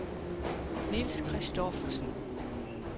Nils Christoffersen